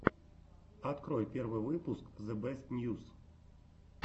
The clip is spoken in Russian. открой первый выпуск зэбэстньюс